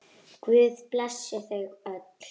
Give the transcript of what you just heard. Guð blessi þau öll.